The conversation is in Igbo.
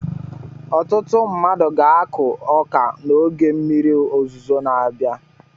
Ọtụtụ mmadụ ga-akụ ọka n'oge mmiri ozuzo na-abịa.